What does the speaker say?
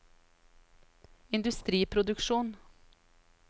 industriproduksjon